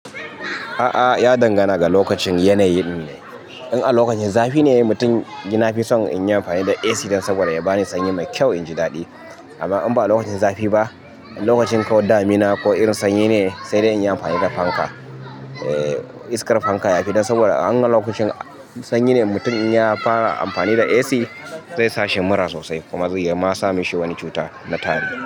A'a, ya dangana ga lokacin yanayi ne. In a lokacin zafi ne mutum, ni na fi son in yi amfani da AC dan saboda ya ba ni sanyi mai kyau in ji daɗi. Amma in ba lokacin zafi ba, lokacin ko damina ko irin sanyi ne, sai dai in yi amfani da fanka, eh, iskar fanka ya fi dan saboda un a lokacin sanyi ne mutum in ya fara amfani da AC zai sa shi mura sosai kuma zai ma same shi wani cuta na tari.